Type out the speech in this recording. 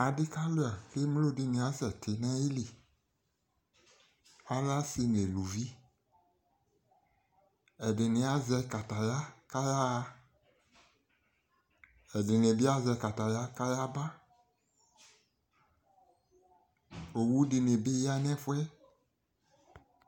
ɑɖi kɑluɑ kɛmlo ɖiniɑsɛti ɲɑyili ɲɛluvi ɛɗini ɑzɛkɑtɑyɑ ƙɑyɑhɑ ɛɖini biɑzɛ kɑtɑyɑ kɑyaɑbɑ ọwωɖini biyɑṅɛfuɛ